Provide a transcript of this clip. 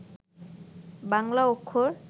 বাংলা অক্ষর